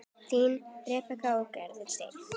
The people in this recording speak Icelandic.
Þín, Rebekka og Garðar Steinn.